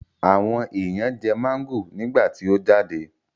Àwọn èèyàn jẹ máńgò nígbà tí ó jáde